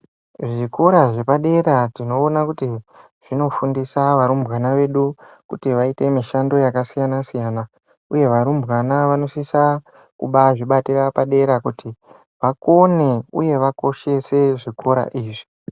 Zvikora zvepadera tinoona kuti zvinofundisa varumbwana vedu kuti vaite mishando yakasiyana-siyana, uye varumbwana vanosisa kubazvibatira padera kuti vakone, uye vakoshese zvikora izvi.